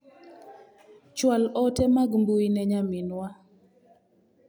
Chwal ote mag mbui ne nyaminwa .